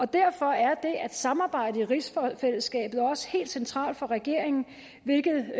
derfor er det at samarbejde i rigsfællesskabet også helt centralt for regeringen hvilket